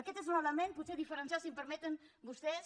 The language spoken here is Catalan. aquest és l’element potser diferencial si m’ho permeten vostès